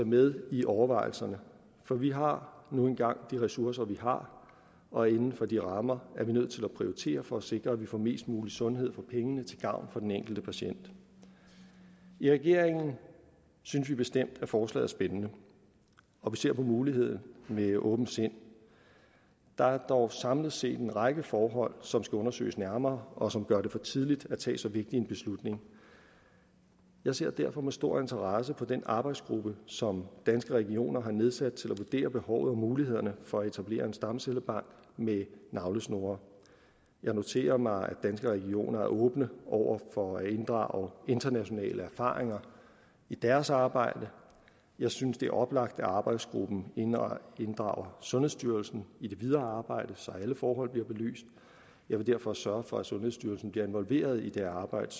med i overvejelserne for vi har nu engang de ressourcer vi har og inden for de rammer er vi nødt til at prioritere for at sikre at vi får mest mulig sundhed for pengene til gavn for den enkelte patient i regeringen synes vi bestemt at forslaget er spændende og vi ser på muligheden med åbent sind der er dog samlet set en række forhold som skal undersøges nærmere og som gør det for tidligt at tage så vigtig en beslutning jeg ser derfor med stor interesse på den arbejdsgruppe som danske regioner har nedsat til at vurdere behovet og mulighederne for at etablere en stamcellebank med navlesnore jeg noterer mig at danske regioner er åben over for at inddrage internationale erfaringer i deres arbejde jeg synes det er oplagt at arbejdsgruppen inddrager sundhedsstyrelsen i det videre arbejde så alle forhold bliver belyst jeg vil derfor sørge for at sundhedsstyrelsen bliver involveret i det arbejde